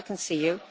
I can see you.